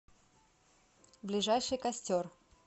ближайший костер